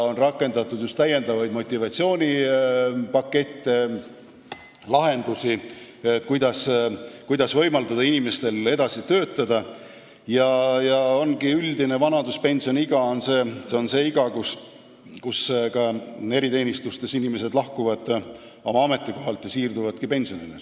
On rakendatud täiendavaid motivatsioonipakette, lahendusi, kuidas võimaldada inimestel edasi töötada, ja üldine vanaduspensioniiga ongi see iga, kui ka eriteenistustes inimesed lahkuvad oma ametikohalt ja siirduvad pensionile.